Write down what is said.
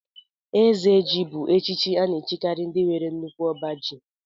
Eze ji bú echichi a na-echikari ndị nwere nnukwu ọbá ji.